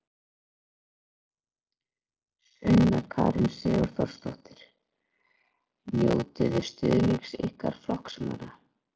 Sunna Karen Sigurþórsdóttir: Njótiði stuðnings ykkar flokksmanna?